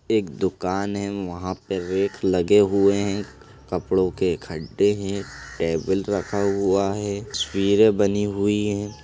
एक दुकान है वहां पे रैक लगे हुए है कपड़ो के खड्डे हैं टेबल रखा हुआ है तस्वीरे बनी हुई है।